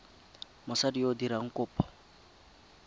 mosadi yo o dirang kopo